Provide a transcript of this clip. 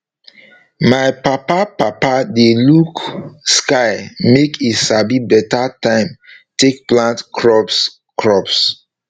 my papa papa dey look sky make e sabi beta time take plant crops crops